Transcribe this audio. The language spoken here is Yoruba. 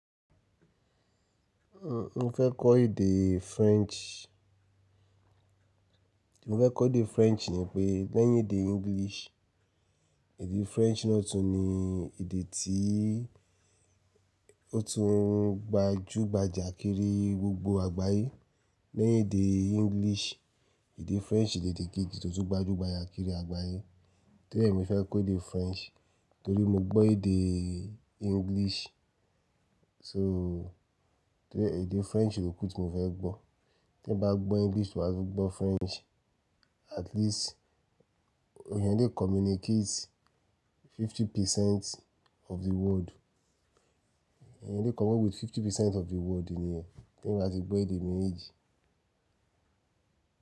N o fẹ́ kọ́ èdè French. Mo fẹ́ kọ́ èdè French nípé lẹ́yìn èdè English, èdè French náà tún ni èdè tí ó tún gbajúgbajà kiri gbogbo àgbáyé. Lẹ́yìn èdè English, èdè French ni èdè kejì tó tún gbajúgbajà kiri àgbáyé. Torienimo fẹ́ kọ́ èdè French torí mo gbọ́ èdè English. So tẹ́ẹ̀ èdè French ló kù tí mo fẹ́ gbọ́. Tí eeyan bá gbọ́ English wa tun gbọ́ French, at least eeyan yẹ́n lè communicate fifty percent of the word Eni yẹ́n lè connect with fifty percent of the world nìyẹn tè èyàn bá ti gbọ́ èdè méjèèjì.